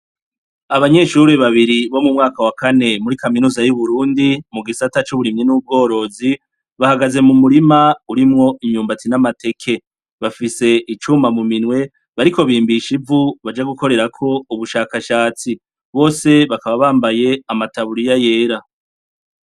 Abanyeshure babiri bo mu mwaka wa kane muri kaminuza y'Uburundi mu gisata c'uburimyi n'ubworozi, bahagaze mu murima urimwo imyumbati n'amateke. Bafise icuma mu minwe, bariko bimbisha ivu baja gukorerako ubashakashatsi. Bose bakaba bambaye amataburiya yera.